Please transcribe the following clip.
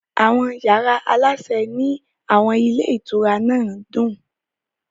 Àwọn yàrá aláṣẹ ní àwọn ilé ìtura náà dùn.